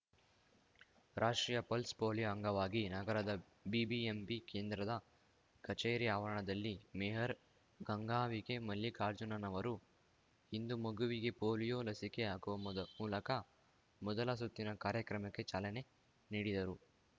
ರಾಷ್ಟ್ರೀಯ pulse polio ಅಂಗವಾಗಿ ನಗರದ ಬಿಬಿಎಂಪಿ ಕೇಂದ್ರದ ಕಛೇರಿ ಆವರಣದಲ್ಲಿ ಮೇಯರ್ ಗಂಗಾಂಬಿಕೆ ಮಲ್ಲಿಕಾರ್ಜುನನ್ ರವರು ಇಂದು ಮಗುವಿಗೆ ಪೋಲಿಯೋ ಲಸಿಕೆ ಹಾಕುವ ಮೊದ್ ಮೂಲಕ ಮೊದಲ ಸುತ್ತಿನ ಕಾರ್ಯಕ್ರಮಕ್ಕೆ ಚಾಲನೆ ನೀಡಿದರು